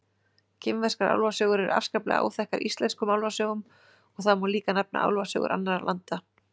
Kínverskar álfasögur eru afskaplega áþekkar íslenskum álfasögum og það má líka nefna álfasögur annarra landa.